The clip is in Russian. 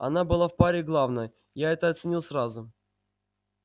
она была в паре главной я это оценил сразу